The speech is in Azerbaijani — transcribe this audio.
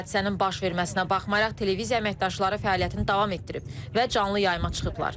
Hadisənin baş verməsinə baxmayaraq televiziya əməkdaşları fəaliyyətini davam etdirib və canlı yayıma çıxıblar.